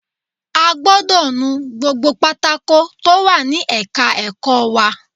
A gbọdọ̀ nu gbogbo pátákó tó wà ní ẹ̀ka ẹ̀kọ́ wa